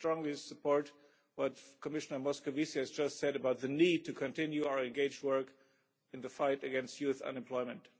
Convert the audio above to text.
I strongly support what Commissioner Moscovici has just said about the need to continue our engaged work in the fight against youth unemployment.